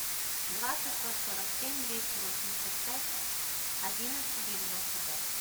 два шестьсот сорок семь двести восемьдесят пять одиннадцать девяносто пять